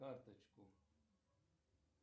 карточку